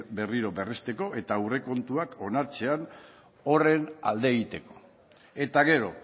berriro berristeko eta aurrekontuak onartzean horren alde egiteko eta gero